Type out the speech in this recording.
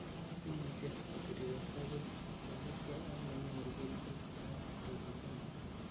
Imuche kotirirese buch kosiibge ak nenyoru kelchin en nyigisindo.